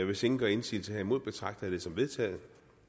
hvis ingen gør indsigelse herimod betragter jeg det som vedtaget